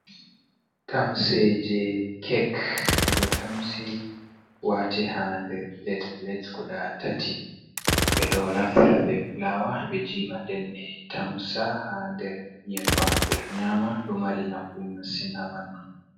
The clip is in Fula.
Tamse je kek bedo tamsi wati ha nder plet plet guda tati bedo naftira be fulawa be jiba denbe tamsa ha nder nyebbam be do nyama do mari nafu masin ha bandu.